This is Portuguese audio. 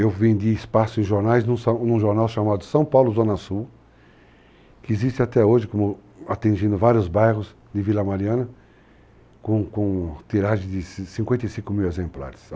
Eu vendi espaço em jornais num jornal chamado São Paulo Zona Sul, que existe até hoje, como, atingindo vários bairros de Vila Mariana, com com tiragem de 55 mil exemplares.